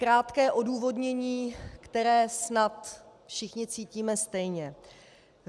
Krátké odůvodnění, které snad všichni cítíme stejně.